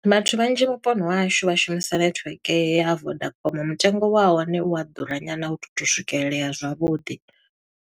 Vhathu vhanzhi vhuponi ha hashu vha shumisa netiweke ya vodacom, mutengo wa hone u a ḓura nyana, a u tu to swikelelea zwavhuḓi.